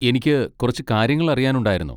എനിക്ക് കുറച്ച് കാര്യങ്ങൾ അറിയാനുണ്ടായിരുന്നു.